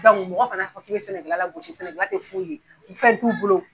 mɔgɔ kana fɔ k'i bɛ sɛnɛ kɛla lagosi sɛnɛ tɛ foyi fɛn t'u bolo